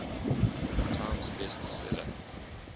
times best seller